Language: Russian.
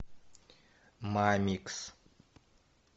мамикс